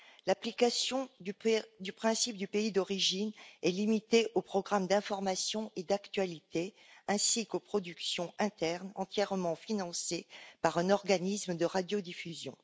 L'application du principe du pays d'origine est limitée aux programmes d'information et d'actualité, ainsi qu'aux productions internes entièrement financées par un organisme de radiodiffusion.